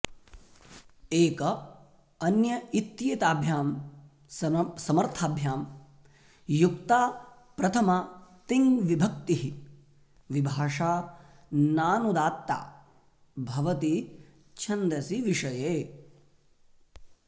एक अन्य इत्येताभ्यां समर्थाभ्यां युक्ता प्रथमा तिङ्विभक्तिः विभाषा नानुदात्ता भवति छन्दसि विषये